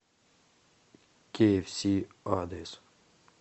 киэфси адрес